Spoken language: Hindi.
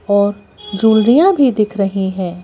और ज्वेल्रियाँ भी दिख रही हैं।